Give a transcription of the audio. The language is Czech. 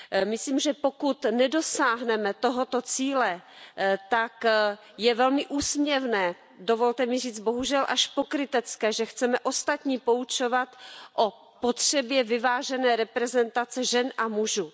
Myslím, že pokud nedosáhneme tohoto cíle, tak je velmi úsměvné, dovolte mi říct bohužel až pokrytecké, že chceme ostatní poučovat o potřebě vyvážené reprezentace žen a mužů.